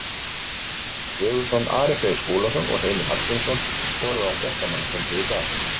Ragnar Sigurðsson, Ari Freyr Skúlason og Heimir Hallgrímsson voru á fréttamannafundi í dag.